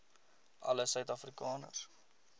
alle suid afrikaners